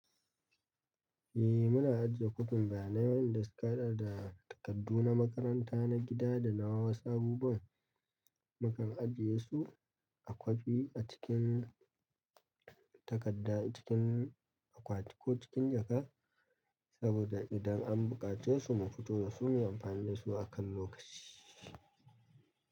Eh muna ajiye kufinta na wayanda suka haɗa da takardu na makaranta, na gida da na wasa. Abubuwan mukan ajiye su a kwafi acikin takadda cikin a kwatu ko cikin jaka saboda idan an buƙace su mu fito da su mu amfani da su akan lokaci.